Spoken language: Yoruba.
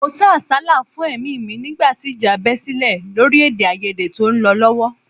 Mo sá àsálà fún ẹ̀mí mi nígbà tí ìjà bẹ sílẹ̀ lórí èdèàìyedè tó ń lọ lọ́wọ́